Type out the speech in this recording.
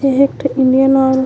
ए ह एक ठो इंडियन ऑइल --